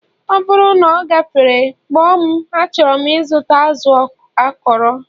ọ bụrụ na ọ gafere, kpọọ m achọrọ m ịzụta azụ akọrọ